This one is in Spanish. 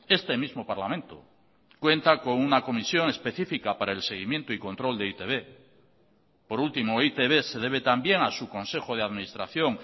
este mismo parlamento cuenta con una comisión específica para el seguimiento y control de e i te be por último e i te be se debe también a su consejo de administración